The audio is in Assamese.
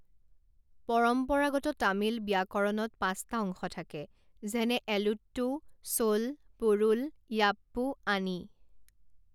পৰম্পৰাগত তামিল ব্যাকৰণত পাঁচটা অংশ থাকে, যেনে এলুত্তু, চোল, পোৰুল, য়াপ্পু, আনি।